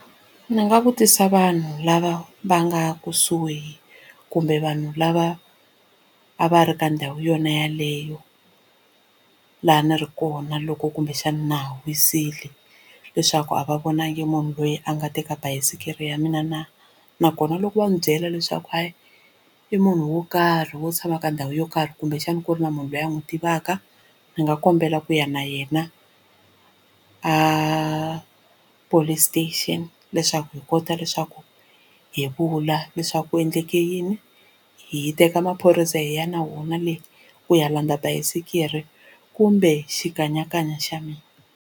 Ndzi nga vutisa vanhu lava va nga kusuhi kumbe vanhu lava a va ri ka ndhawu yona yeleyo laha a ni ri kona loko kumbexana na ha wisile leswaku a va vonangi munhu loyi a nga teka bayisikiri ya mina na nakona loko va ni byela leswaku hayi i munhu wo karhi wo tshama ka ndhawu yo karhi kumbexana ku ri na munhu loyi a n'wi tivaka ndzi nga kombela ku ya na yena a police station leswaku hi kota leswaku hi vula leswaku ku endleke yini hi teka maphorisa hi ya na wona le ku ya landza basikiri kumbe xikanyakanya xa mina.